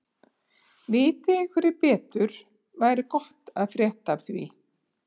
Viti einhverjir betur væri gott að frétta af því.